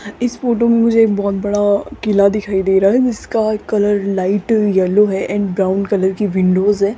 इस फोटो मे मुझे एक बहोत बड़ा किला दिखाई दे रहा है जिसका कलर लाइट येलो है एंड ब्राउन कलर की विंडोस है।